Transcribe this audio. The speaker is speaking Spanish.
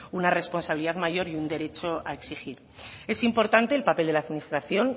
una responsabilidad mayor y un derecho a exigir es importante el papel de la administración